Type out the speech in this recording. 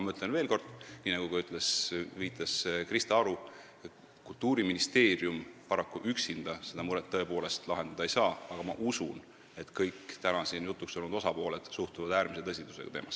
Ma ütlen veel kord, nii nagu ka viitas Krista Aru, et Kultuuriministeerium üksinda seda muret paraku tõepoolest lahendada ei saa, aga ma usun, et kõik täna siin jutuks olnud osapooled suhtuvad teemasse äärmise tõsidusega.